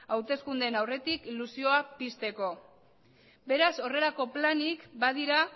hauteskundeen aurretik ilusioa pizteko beraz horrelako planik badira